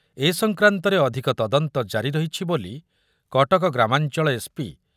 ଏ ସଂକ୍ରାନ୍ତରେ ଅଧିକ ତଦନ୍ତ ଜାରି ରହିଛି ବୋଲି କଟକ ଗ୍ରାମାଞ୍ଚଳ ଏସ ପି ବି